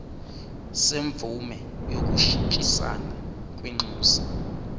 semvume yokushintshisana kwinxusa